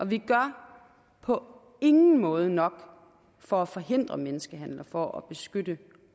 vi gør på ingen måde nok for at forhindre menneskehandel for at beskytte